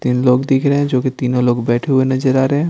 तीन लोग दिख रहे हैं जो कि तीनों लोग बैठे हुए नजर आ रहे हैं।